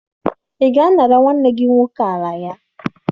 Ị ga-anara nwanne gị nwoke ala ya?